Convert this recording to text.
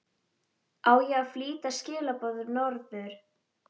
Á ég að flytja skilaboð norður?